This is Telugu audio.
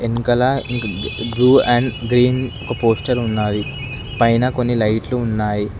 వెనకాల బ్లూ అండ్ గ్రీన్ ఒక పోస్టర్ ఉన్నయి పైన కొన్ని లైట్లు ఉన్నాయి.